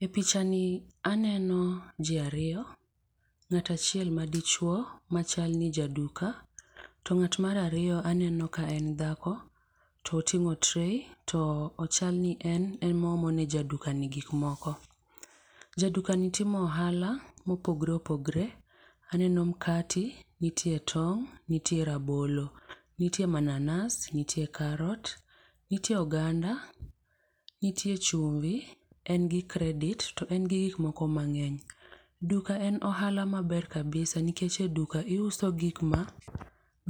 E pichani aneno ji ariyo, ng'at achiel madichuo , machal ni jaduka, to ng'at mar ariyo aneno ka en dhako, to oting'o tray, to ochal ni en, ema oomo ne jadukani gik moko. Jadukani timo ohala mopogoreopogore. Aneno mkate, nitie tong', nitie rabolo, nitie mananas, nitie carrot, nitie oganda, nitie chumvi, en gi credit, to en gi gik moko mang'eny. Duka en ohala maber kabisa nikech e duka iuso gik ma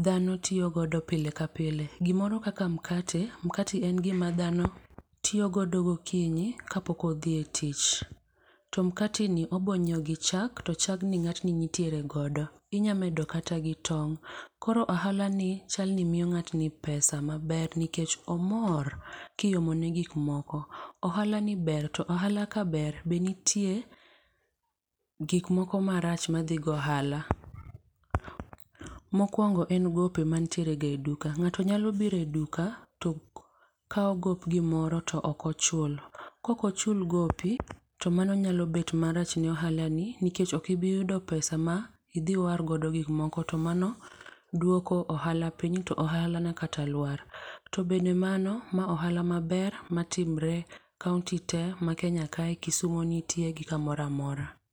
dhano tiyogodo pile ka pile. Gimoro kaka mkate, mkate en gima dhano tiyogodo gokinyi kapok odhi e tich. To mkate ni obo ny'iewo gi chak, to chagni ng'atni nitiere godo, inyamedo kata gi tong'.Koro ohalani chal ni miyo ng'atni pesa maber nikech omor kiomone gik moko. Ohalani ber. To ohala ka ber be to nitie gik moko marach madhi gi ohala. Mokwongo en gope mantierega e duka. Ng'ato nyalo biro e duka to kawo gop gimoro to ok ochul. Kokochul gopi, to mano nyalo bet marach ne ohalani ,nikech ok ibiyudo pesa ma idhi iwargodo gik moko. To mano dwoko ohala piny ,to ohala nya kata lwar. To bende mano, ma ohala maber matimore county te ma Kenya kae, Kisumu nitie gi kamoro amora.